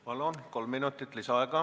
Palun, kolm minutit lisaaega!